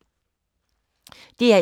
DR1